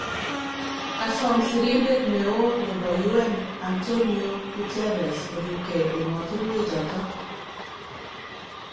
Kasom sirindet neoo nebo UN Antonio Guterres koribgei emotinwechoto